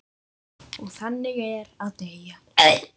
Og þannig er að deyja.